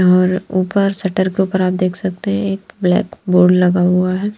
और ऊपर शटर के ऊपर आप देख सकते हैं एक ब्लैक बोर्ड लगा हुआ है।